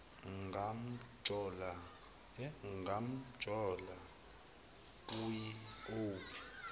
ngamjola uyi owu